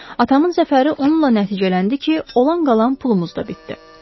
Atamın zəfəri onunla nəticələndi ki, olan-qalan pulumuz da bitdi.